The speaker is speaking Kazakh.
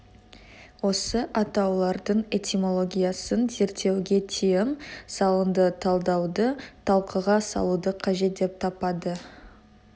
осы атаулардың этимологиясын зерттеуге тиым салынды талдауды талқыға салуды қажет деп таппады